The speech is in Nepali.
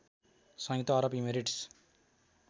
संयुक्त अरब इमिरेट्स